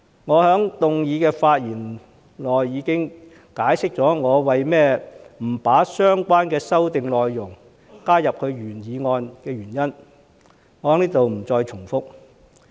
我在原議案的發言時已解釋過，我不把相關修訂內容加入原議案的原因，在這裏我不再重複。